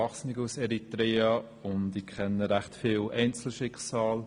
Ich kenne ziemlich viele Einzelschicksale.